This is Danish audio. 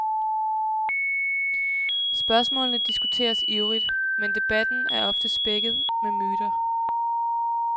Spørgsmålene diskuteres ivrigt, men debatten er ofte spækket med myter.